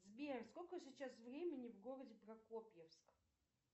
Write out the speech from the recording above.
сбер сколько сейчас времени в городе прокопьевск